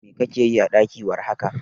Me kake yi a ɗaki war haka?